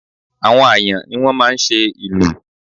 Àwọn Àyàn ni wọ́n máa ń ṣe ìlù